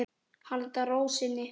Halda ró sinni.